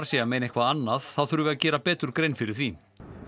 sé að meina eitthvað annað þá þurfi að gera betur grein fyrir því